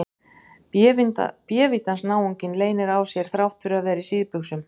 Bévítans náunginn leynir á sér þrátt fyrir að vera í síðbuxum!